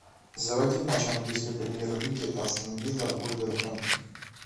заводи матч английской премьер лиги астон вилла вулверхэмптон